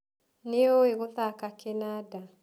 Nĩũĩ gũthaka kĩnanda?